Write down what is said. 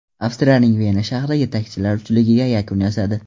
Avstriyaning Vena shahri yetakchilar uchligiga yakun yasadi.